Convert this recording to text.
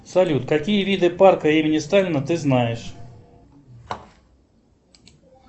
салют какие виды парка имени сталина ты знаешь